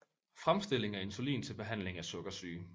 Fremstilling af insulin til behandling af sukkersyge